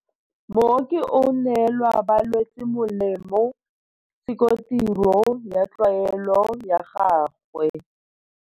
Mooki o neela balwetse molemo, se ke tiro ya tlwaelo ya gagwe.